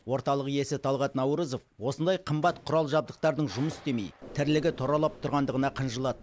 орталық иесі талғат наурызов осындай қымбат құрал жабдықтардың жұмыс істемей тірлігі тұралап тұрғандығына қынжылады